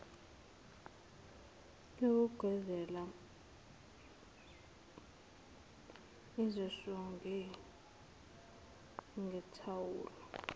yokugezela ezisonge ngethawula